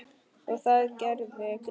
Og það gerði Gissur.